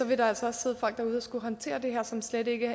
vil der altså også sidde folk derude der skal håndtere det her og som slet ikke